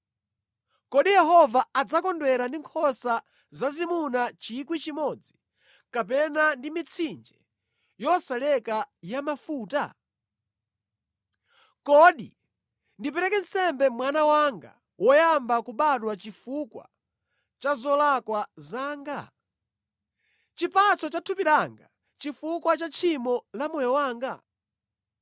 Kodi Yehova adzakondwera ndi nkhosa zazimuna 1,000, kapena ndi mitsinje yosalekeza ya mafuta? Kodi ndipereke nsembe mwana wanga woyamba kubadwa chifukwa cha zolakwa zanga? Chipatso cha thupi langa chifukwa cha tchimo la moyo wanga?